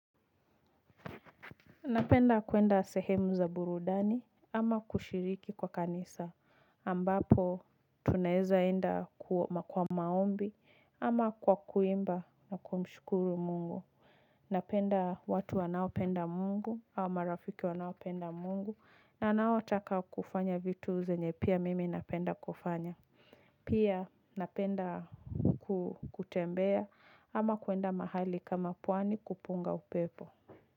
Napenda kuenda sehemu za burudani ama kushiriki kwa kanisa ambapo tunaeza enda kwa maombi ama kwa kuimba na kumshukuru mungu. Napenda watu wanao penda mungu au marafiki wanaopenda mungu na wanao taka kufanya vitu zenye pia mimi napenda kufanya. Pia napenda kutembea ama kuenda mahali kama pwani kupunga upepo.